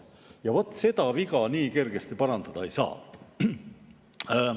Ja vaat seda viga nii kergesti parandada ei saa.